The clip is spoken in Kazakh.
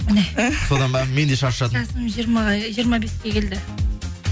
міне содан ба мен де шаршадым жасым жиырма беске келді